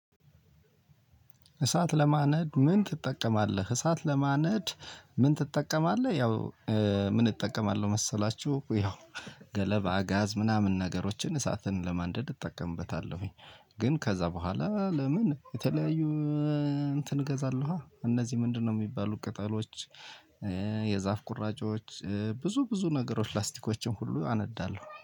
እሳት ለማንደድ ምን ትጠቀማለህ እሳት ለማንደድ ምን ትጠቀማለህ? ያው ምን እጠቀማለሁ መሰላችሁ ያው ገለባ ጋዝ ምናምን ነገሮችን እሳትን ለማንደድ እጠቀምበታለሁኝ። ግን ከዛ በኋላ ለምን የተለያዩ እንትን እገዛለኋ? እነዚህ ምንድነው የሚባሉ ቅጠሎች? የዛፍ ቁራጮች ብዙ ብዙ ነገሮች ላስቲኮችን ሁሉ አነዳለሁ